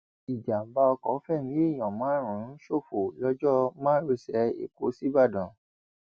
ìjàḿbà ọkọ fẹmí èèyàn márùnún ṣòfò lọjọ márosẹ ẹkọ sìbàdàn